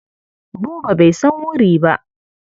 Buba bai san wuri ba.